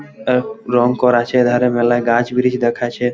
আর রং করা আছে এধারে মেলায় গাছ ব্রিজ দেখাছে --